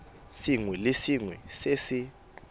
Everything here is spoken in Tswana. sengwe le sengwe se se